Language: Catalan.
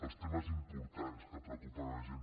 els temes importants que preocupen la gent